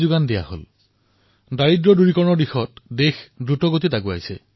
বিশ্বৰ গণ্যমান্য সংস্থাসকলে মানি লৈছে যে ভাৰতে অভিলেখ গতিত দেশত দৰিদ্ৰতাৰ পৰা মুক্তি দিছে